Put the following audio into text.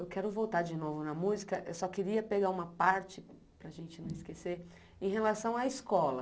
Eu quero voltar de novo na música, eu só queria pegar uma parte, para a gente não esquecer, em relação à escola.